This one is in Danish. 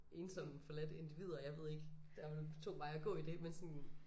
Ensomme forladte individer jeg ved ikke der er vel to veje at gå i dét men sådan